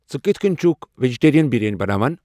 ژٕ کِتھ کٔنۍ چھُکھ ویجٹیریَن بریانی بناوان